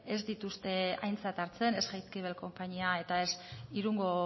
ez dituzte aintzat hartzen ez jaizkibel konpainia eta ez irungo